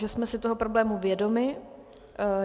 Že jsme si toho problému vědomi.